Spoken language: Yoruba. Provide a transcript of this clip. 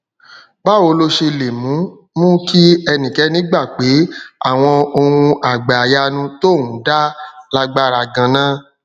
báwo ló ṣe lè mú mú kí ẹnikéni gbà pé àwọn ohun àgbàyanu tóun dá lágbára ganan